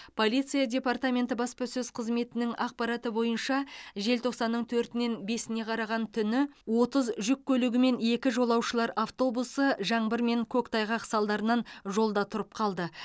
полиция департаменті баспасөз қызметінің ақпараты бойынша желтоқсанның төртінен бесіне қараған түні отыз жүк көлігі мен екі жолаушылар автобусы жаңбыр мен көктайғақ салдарынан жолда тұрып қалды